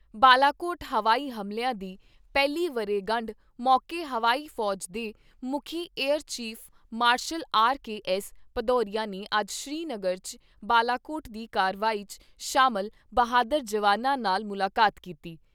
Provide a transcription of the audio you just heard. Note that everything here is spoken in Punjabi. ਬਾਲਾਕੋਟ ਹਵਾਈ ਹਮਲਿਆਂ ਦੀ ਪਹਿਲੀ ਵਰ੍ਹੇਗੰਢ ਮੌਕੇ ਹਵਾਈ ਫੌਜ ਦੇ ਮੁੱਖੀ air chief marshal R K S Bhadauria ਨੇ ਅੱਜ ਸ੍ਰੀ ਨਗਰ 'ਚ ਬਾਲਾਕੋਟ ਦੀ ਕਾਰਵਾਈ 'ਚ ਸ਼ਾਮਲ ਬਹਾਦਰ ਜਵਾਨਾਂ ਨਾਲ ਮੁਲਾਕਾਤ ਕੀਤੀ।